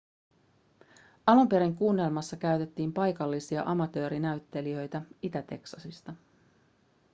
alun perin kuunnelmassa käytettiin paikallisia amatöörinäyttelijöitä itä-teksasista